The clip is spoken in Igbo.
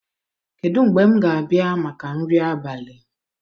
Kedu mgbe m ga-abịa maka nri abalị